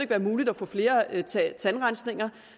være muligt at få flere tandrensninger